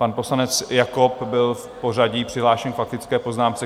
Pan poslanec Jakob byl v pořadí přihlášen k faktické poznámce.